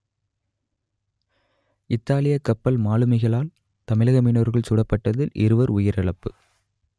இத்தாலியக் கப்பல் மாலுமிகளால் தமிழக மீனவர்கள் சுடப்பட்டதில் இருவர் உயிரிழப்பு